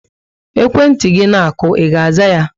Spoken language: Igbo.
Ekwentị gị na aku, I ga aza yá?